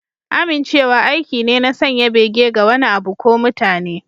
Amincewa aiki ne na sanya bege ga wani abu ko mutane.